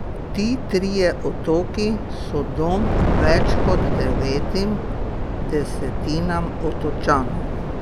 Ti trije otoki so dom več kot devetim desetinam otočanov.